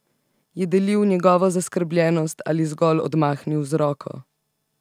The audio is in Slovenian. Je delil njegovo zaskrbljenost ali zgolj odmahnil z roko?